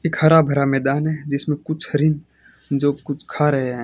एक हरा भरा मैदान है जिसमें कुछ हरिन जो कुछ खा रहे हैं।